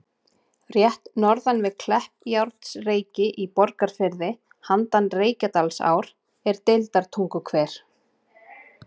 Rétt norðan við Kleppjárnsreyki í Borgarfirði, handan Reykjadalsár, er Deildartunguhver.